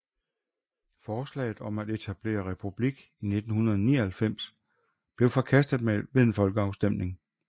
Forslaget om at etablere republik i 1999 blev forkastet ved en folkeafstemning